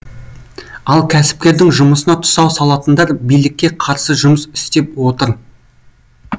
ал кәсіпкердің жұмысына тұсау салатындар билікке қарсы жұмыс істеп отыр